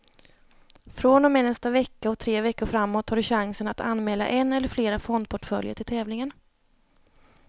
Från och med nästa vecka och tre veckor framåt har du chansen att anmäla en eller flera fondportföljer till tävlingen.